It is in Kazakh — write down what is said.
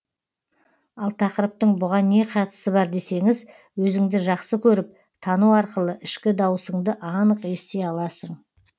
ал тақырыптың бұған не қатысы бар десеңіз өзіңді жақсы көріп тану арқылы ішкі даусыңды анық ести аласың